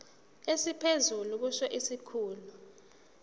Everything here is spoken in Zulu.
esiphezulu kusho isikhulu